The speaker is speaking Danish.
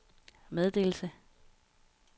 meddelelse